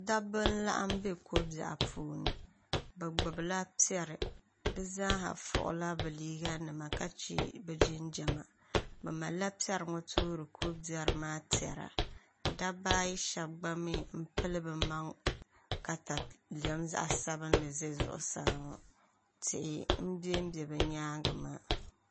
dabba n-laɣim m-be ko' biɛɣu puuni bɛ gbubila piɛri bɛ zaasa fuɣila bɛ liiganima ka che bɛ jinjama bɛ malila piɛri ŋɔ toori ko' biɛri maa tɛra dabba ayi shɛba gba mi pili bɛ maŋa takalɛm zaɣ' sabilinli za zuɣusaa ŋɔ tihi m-bembe bɛ nyaaŋa maa